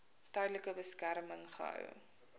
tydelike beskerming gehou